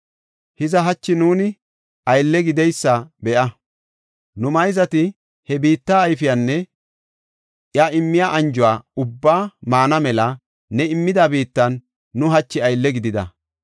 “Hiza, hachi nuuni aylle gideysa be7a. Nu mayzati he biitte ayfiyanne iya immiya anjuwa ubbaa maana mela ne immida biittan nu hachi aylle gidida.